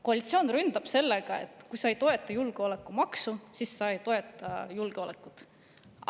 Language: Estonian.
Koalitsioon ründab sellega, et kui sa ei toeta julgeolekumaksu, siis sa ei toeta julgeolekut.